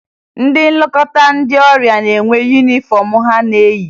Ndị Nlekọta ndị ọrịa na-enwe yunifọmụ ha na-eyi